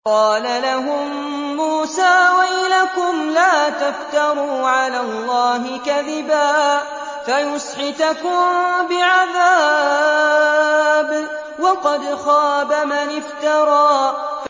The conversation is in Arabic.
قَالَ لَهُم مُّوسَىٰ وَيْلَكُمْ لَا تَفْتَرُوا عَلَى اللَّهِ كَذِبًا فَيُسْحِتَكُم بِعَذَابٍ ۖ وَقَدْ خَابَ مَنِ افْتَرَىٰ